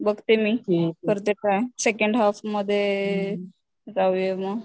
बघते मी, करते प्लॅन सेकंड हाल्फमध्ये जाऊया म.